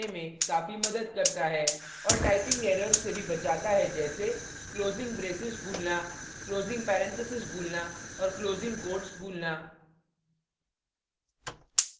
और typing errors से भी बचाता है जैसे closing braces भूलना closing पैरेनथीसेस भूलना और closing quotes भूलना